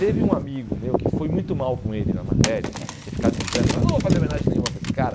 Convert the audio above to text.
Teve um amigo meu que foi muito mal com ele na matéria, tinha ficado de exame, falou, eu não vou fazer homenagem nenhuma para esse cara.